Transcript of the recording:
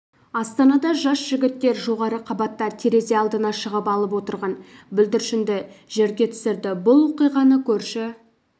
астанада жас жігіттер жоғары қабатта терезе алдына шығып алып отырған бүлдіршінді жерге түсірді бұл оқиғаны көрші